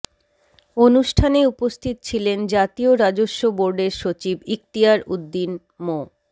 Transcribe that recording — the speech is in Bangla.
অনুষ্ঠানে উপস্থিত ছিলেন জাতীয় রাজস্ব বোর্ডের সচিব ইকতিয়ার উদ্দীন মো